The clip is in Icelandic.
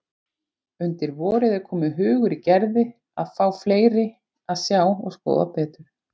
Undir vorið er kominn hugur í Gerði að fá fleira að sjá og skoða betur.